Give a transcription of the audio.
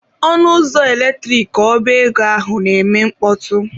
Ọnụ ụzọ eletrik ọba ego ahụ na-eme mkpọtụ.